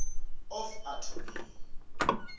of attorney